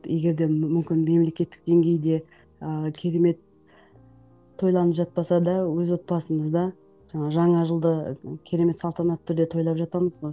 егер де мүмкін мемлекеттік деңгейде ыыы керемет тойланып жатпаса да өз отбасымызда жаңа жаңа жылды керемет салтанатты түрде тойлап жатамыз ғой